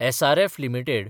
SRF limited